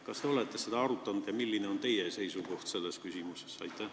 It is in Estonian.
Kas te olete seda arutanud ja milline on teie seisukoht selles küsimuses?